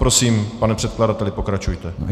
Prosím, pane předkladateli, pokračujte.